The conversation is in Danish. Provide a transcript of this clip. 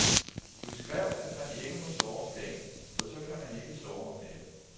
Du skrev, at man ikke må sove om dagen, for så kan man ikke sove om natten.